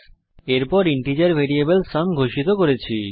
তারপর আমরা integer variable sum ঘোষিত করেছি